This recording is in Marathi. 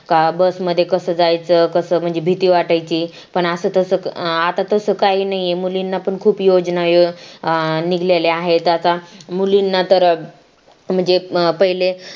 का bus मध्ये कसे जायचं कसं म्हणजे भीती वाटायची पण असं तसं आता तसं काही नाहीये मुलींना पण खूप योजना अं निघालेल्या आहेत आता मुलींना तर अं म्हणजे पहिले